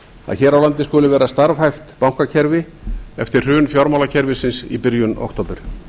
að hér á landi skuli vera starfhæft bankakerfi eftir hrun fjármálakerfisins í byrjun október